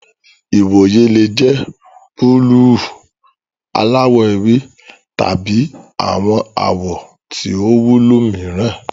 Ìwòyè le jẹ buluu, aláwò ewé, tabi awọn awọ tí o wúlò mìíràn.